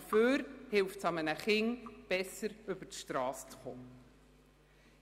Dafür ist einem Kind damit geholfen, die Strasse besser zu überqueren.